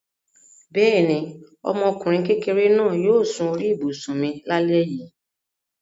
Bẹ́ẹ̀ ni, ọmọkùnrin kékeré náà yóò sun orí ibùsùn mi lálẹ́ yìí.